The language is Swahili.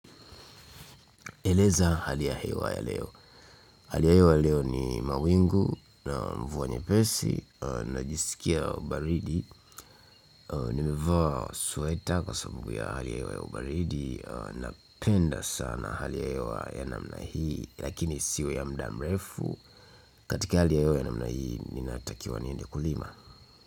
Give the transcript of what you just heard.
Eleza hali ya hewa ya leo. Hali ya hewa leo ni mawingu na mvua nyepesi, najisikia baridi. Nimevaa sweta kwasababu ya hali ya hewa ya baridi. Napenda sana hali ya hewa ya namna hii lakini isiwe ya mda mrefu. Katika hali ya hewa ya namna hii ninatakiwa niende kulima.